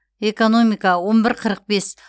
экономика он бір қырық бес